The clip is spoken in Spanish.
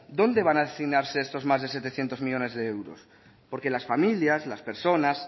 dónde van a destinarse estos más de setecientos millónes de euros porque las familias las personas